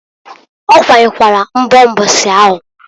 Okwanyekwalu nbo mbosi ahụ.